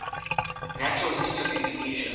natural history of indonesia